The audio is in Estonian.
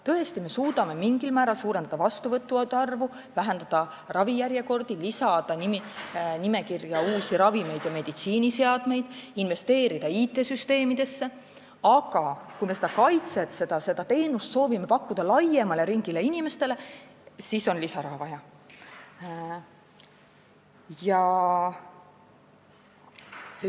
Tõesti, me suudame mingil määral suurendada vastuvõttude arvu, vähendada ravijärjekordi, lisada nimekirja uusi ravimeid ja meditsiiniseadmeid, investeerida IT-süsteemidesse, aga kui me seda teenust soovime pakkuda laiemale inimeste ringile, siis on vaja lisaraha.